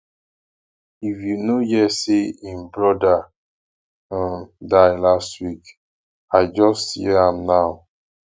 you no hear say him brother um die last week i just hear am now